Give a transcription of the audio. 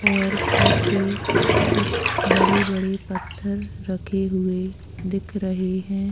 और पीछे कुछ बड़े -बड़े पत्थर रखे हुए दिख रहे हैं ।